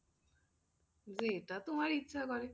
যেটা তোমার ইচ্ছা করে,